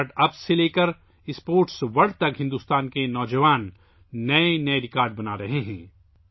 start ups سے لے کر کھیلوں کی دنیا تک، ہندوستان کے نوجوان نئے ریکارڈ بنا رہے ہیں